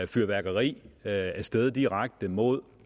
fyrværkeri af sted direkte mod